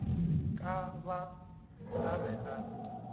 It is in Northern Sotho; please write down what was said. ka ba a be a